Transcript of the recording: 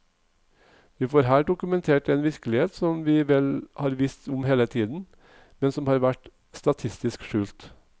Vi får her dokumentert en virkelighet som vi vel har visst om hele tiden, men som har vært statistisk skjult.